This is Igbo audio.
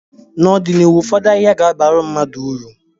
n'ọdịnihu ụfọdụ ahịhịa ga-abara mmadụ uru